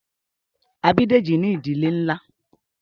A bí Dèjì ní ìdílé nlá